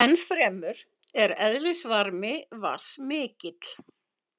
Ennfremur er eðlisvarmi vatns mikill.